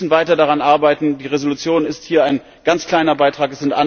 Wir müssen weiter daran arbeiten, die Entschließung ist hier ein ganz kleiner Beitrag.